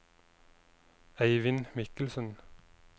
Eivind Michelsen